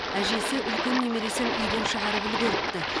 әжесі үлкен немересін үйден шығарып үлгеріпті